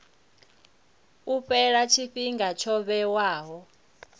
u fhela tshifhinga tsho vhewaho